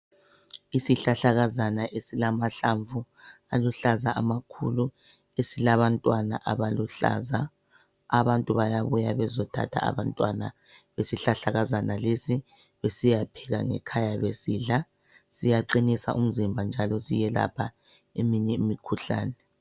Isihlahlakazana esilamahlamvu aluhlaza amakhulu esilabantwana abaluhlaza, abantu bayabuya bezothatha abantwana besihlahlakazana lesi besiyapheka ngekhaya besidla siyaqinisa umzimba njalo siyelapha eminye imikhuhlane.